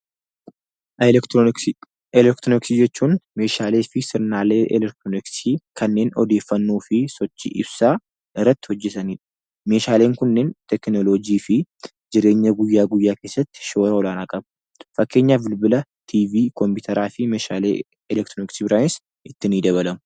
Elektirooniksii. Elektirooniksii jechuun meeshaalee fi sirnaalee elektirooniksii kanneen odeeffannoo fi sochii ibsaa irratti hojjetanidha. Meeshaaleen kunniin teeknoolojii fi jireenya guyyaa guyyaa keessatti shoora olaanaa qabu. Fakkenyaf bilbila, tiivii, kompitaraa fi meeshaalee elektirooniksii biraanis itti ni dabalamu.